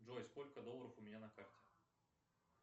джой сколько долларов у меня на карте